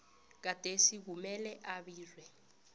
gadesi kumele abiwe